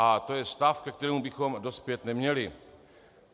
A to je stav, ke kterému bychom dospět neměli.